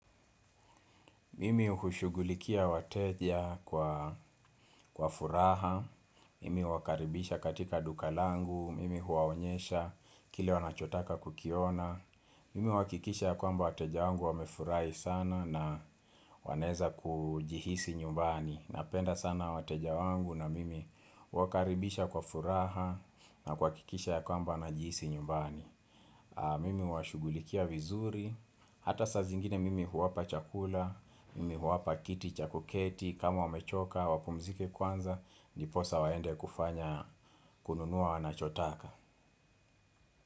Mimi hushugulikia wateja kwa furaha. Mimi huwakaribisha katika duka langu. Mimi huaonyesha kile wanachotaka kukiona. Mimi hukikisha kwa mba wateja wangu wamefurahi sana na waneza kujihisi nyumbani. Napenda sana wateja wangu na mimi wakaribisha kwa furaha na kwa kuhakikisha kwamba na ajihisi nyumbani. Mimi huwashugulikia vizuri, hata saa zingine mimi huwapa chakula, mimi huwapa kiti chakuketi, kama wamechoka, wapumzike kwanza, ndiposa waende kufanya kununua wanachotaka.